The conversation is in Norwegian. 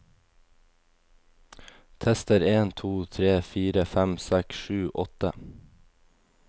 Tester en to tre fire fem seks sju åtte